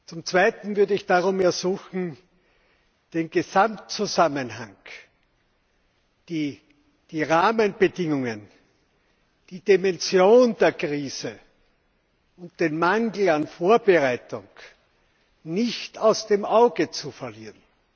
Zum Zweiten würde ich darum ersuchen, den Gesamtzusammenhang, die Rahmenbedingungen, die Dimension der Krise und den Mangel an Vorbereitung nicht aus den Augen zu verlieren.